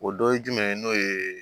O dɔ ye jumɛn ye n'o ye